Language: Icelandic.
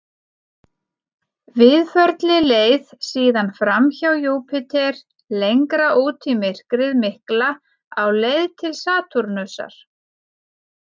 Víðförli leið síðan fram hjá Júpíter lengra út í myrkrið mikla á leið til Satúrnusar.